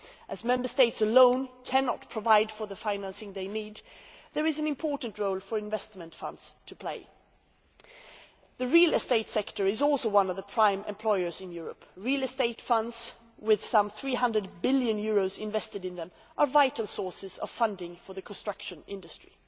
As Member States alone cannot provide the financing they need, there is an important role for investment funds to play. The real estate sector is also one of the prime employers in Europe. Real estate funds with some EUR300 billion invested in them are vital sources of funding for the construction industry.